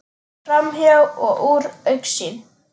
Framhjá og úr augsýn.